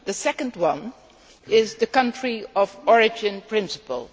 The second one is the country of origin principle.